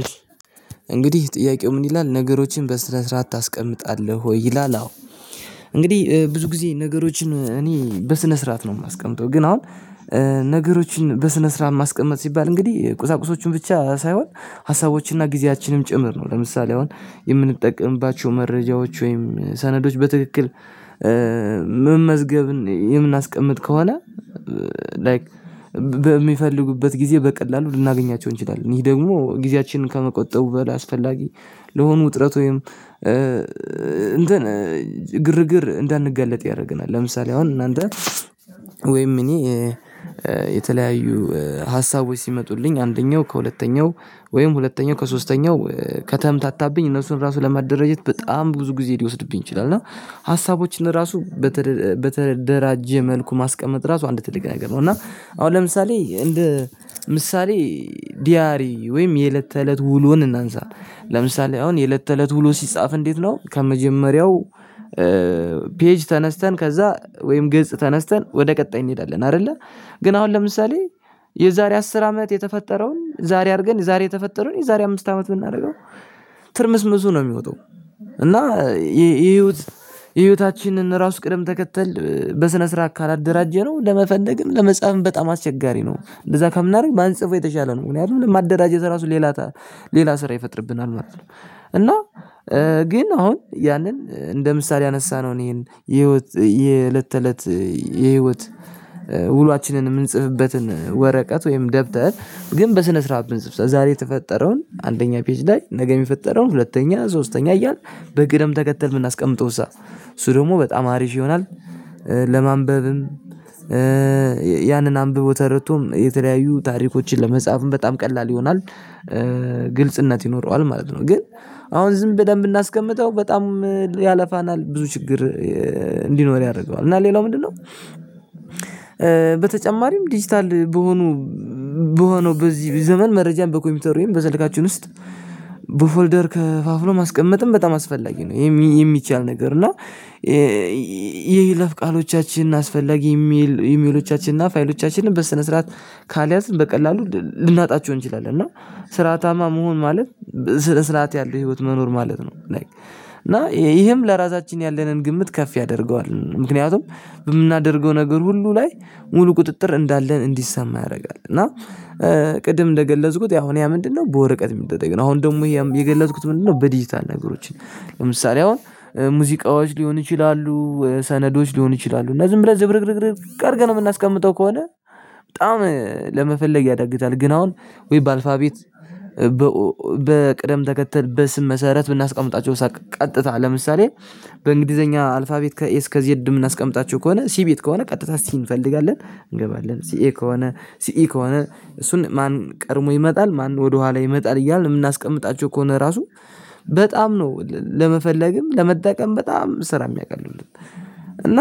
እሺ እንግዲህ ጥያቄው ምን ይላል ነገሮችን በስነ ስረአት ታስቀምጣለህ ወይ ይላል? አዎ እንግዲህ ብዙ ጊዜ ነገሮችን እኔ በስነ ስርዓት ነው የማስቀምጠው። ግን አሁን ነገሮችን በስነ ስርዓት ማስቀመጥ ሲባል እንግዲህ ቁሳቁሶቹን ብቻ ሳይሆን ሀሳቦችንና ጊዜያችንም ጭምር ነው። ለምሳሌ አሁን የምንጠቀምባቸው መረጃዎች ወይም ሰነዶች በትክክል መ መዝገብን የምናስቀምጥ ከሆነ ላይክ በሚፈልጉበት ጊዜ በቀላሉ ልናገኛቸው እንችላለን። ይሄ ደግሞ ጊዜያችንን ከመቆጠቡ በላይ አስፈላጊ ለሆኑ ውጥረት ወይም እንትን ግርግር እንዳንጋለጥ ያደርገናል። ለምሳሌ አሁን እናንተ ወይም እኔ የተለያዩ ሀሳቦች ሲመጡልኝ አንደኛው ከሁለተኛው ወይም ሁለተኛው ከሶስተኛው ከተምታታብኝ እነሱን ራሱ ለማደራጀት በጣም ብዙ ጊዜ ሊወስድብኝ ይችላል እና ሀሳቦችን ራሱ በተ በተደራጀ መልኩ ማስቀመጥ ራሱ አንድ ትልቅ ነገር ነው። እና አሁን ለምሳሌ እንደ ምሳሌ ዲያሪ ወይም የእለት ተእለት ውሎን እናንሳ ለምሳሌ አሁን የለት ተለት ውሎ ሲጻፍ እንዴት ነው? ከመጀመሪያው ፔጅ ተነስተን ከዛ ወይም ገጽ ተነስተን ወደ ቀጣይ እንሄዳለን አይደለ ግን አሁን ለምሳሌ የዛሬ አስር አመት የተፈጠረውን ዛሬ አድርገን የዛሬ የተፈጠረውን የዛሬ አምስት አመት ብናደርገው ትርምስምሱ ነው የሚወጣው። እና የህይወት ህይወታችንን ራሱ ቅደም ተከተል በስነ ስርዓት ካላደራጀነው ለመፈለግም ለመጻፍም በጣም አስቸጋሪ ነው። እንደዛ ከምናደርግ ባንጽፈው የተሻለ ነው ምክንያቱም ለማደራጀት ራሱ ሌላ ሌላ ስራ ይፈጥርብናል ማለት ነው። እና ግን አሁን ያንን እንደ ምሳሌ ያነሳነውን ይህን የህይወት የእለት ተለት የህይወት ውሏችንን የምንጽፍበትን ወረቀት ወይም ደብተር ግን በስነ ስርዓት ብንጽፍ ዛሬ የተፈጠረውን አንደኛ ፔጅ ላይ ነገ የሚፈጠረውን ሁለተኛ ሶስተኛ እያልን በቅደም ተከተል ብናስቀምጠው እሳ እሱ ደግሞ በጣም አሪፍ ይሆናል። ለማንበብም ያንን አንብቦ ተረድቶም የተለያዩ ታሪኮችን ለመጻፍም በጣም ቀላል ይሆናል። ግልጽነት ይኖረዋል ማለት ነው። ግን አሁን ዝም ብለን ብናስቀምጠው በጣም ያለፋናል ብዙ ችግር እንዲኖር ያደርገዋል። እና ሌላው ምንድነው? በተጨማሪም ዲጂታል በሆኑ በሆነው በዚህ ዘመን መረጃን በኮምፒውተር ወይም በስልካችን ውስጥ በፎልደር ከፋፍሎ ማስቀመጥም በጣም አስፈላጊ ነው። የሚቻል ነገር እና የይለፍ ቃሎቻችንን አስፈላጊ ኢሜሎቻችንን ፋይሎቻችንን በስነ ስርዓት ካልያዝን በቀላሉ ልናጣቸው እንችላለን። እና ስርአታማ መሆን ማለት ስነ ስርዓት ያለው ህይወት መኖር ማለት ነው። እና ይህም ለራሳችን ያለንን ግምት ከፍ ያደርገዋል ምክንያቱም በምናደርገው ነገር ሁሉ ላይ ሙሉ ቁጥጥር እንዳለን እንዲሰማ ያደርጋል። እና ቅድም እንደገለጽኩት ያሁን ያ ምንድነው? በወረቀት የሚደረግ ነው። አሁን ደግሞ የገለጽኩት ምንድነው? በዲጂታል ነገሮችን ለምሳሌ አሁን ሙዚቃዎች ሊሆን ይችላሉ ሰነዶች ሊሆኑ ይችላሉ እና ዝም ብለን ዝብርቅርቅርቅ አድርገን የምናስቀምጠው ከሆነ በጣም ለመፈለግ ያዳግታል። ግን አሁን ወይ በአልፋቤት በቅደም ተከተል በስም መሰረት ብናስቀምጣቸው ሳቅ ቀጥታ ለምሳሌ በእንግሊዘኛ አልፋቤት ከኤ እስከ ዜድ የምናስቀምጣቸው ከሆነ ሲቤት ከሆነ ቀጥታ ሲን እንፈልጋለን እንገባለን ሲ ኢ ከሆነ ሲ ኢ ከሆነ እሱን ማን ቀድሞ ይመጣል ማን ወደኋላ ይመጣል እያልን የምናስቀምጣቸው ከሆነ ራሱ በጣም ነው ለመፈለግም ለመጠቀም በጣም ስራ የሚያቀሉልን። እና